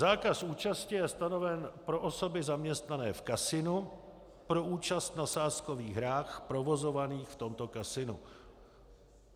Zákaz účasti je stanoven pro osoby zaměstnané v kasinu pro účast na sázkových hrách provozovaných v tomto kasinu.